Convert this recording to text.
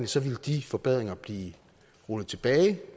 så ville de forbedringer blive rullet tilbage